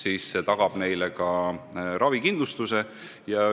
See tagab neile ravikindlustuse.